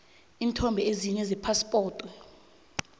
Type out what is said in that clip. iinthombe ezine zephaspoti